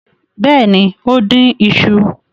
Bẹ́ẹ̀ ni, ó dín iṣu.